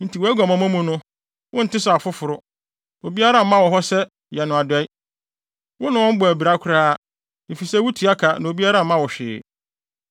Enti wʼaguamammɔ mu no wo nte sɛ afoforo; obiara mma wo hɔ sɛ yɛ no adɔe. Wo ne wɔn bɔ abira koraa, efisɛ wutua ka na obiara mma wo hwee.